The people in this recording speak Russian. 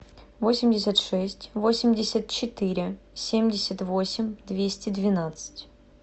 восемьдесят шесть восемьдесят четыре семьдесят восемь двести двенадцать